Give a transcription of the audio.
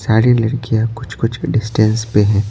सारी लड़कियां कुछ-कुछ डिस्टेंस पे हैं।